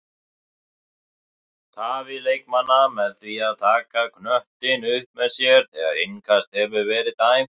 Tafir leikmanna með því að taka knöttinn upp með sér þegar innkast hefur verið dæmt?